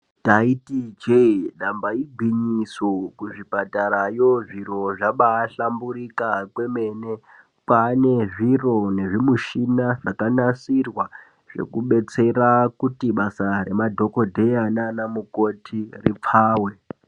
Taiti je damba igwinyiso kuzvipatarayo zviro zvabahlamburika kwemene kwane zviro nezvimushina zvakanasirwa zvinodetsera basa remadhokodheya nana mukoti ripfawe.